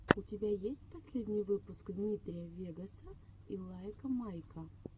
у тебя есть последний выпуск дмитрия вегаса и лайка майка